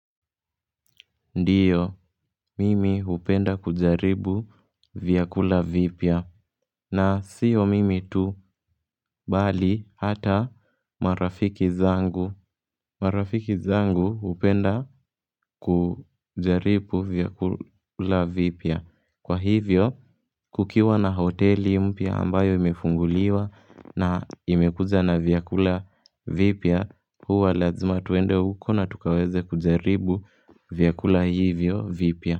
Ndiyo, mimi hupenda kujaribu vyakula vipya. Na sio mimi tu bali hata marafiki zangu. Marafiki zangu hupenda kujaribu vyakula vipya. Kwa hivyo, kukiwa na hoteli mpya ambayo imefunguliwa na imekuja na vyakula vipya, huwa lazima twende huko na tukaweze kujaribu vyakula hivyo vipya.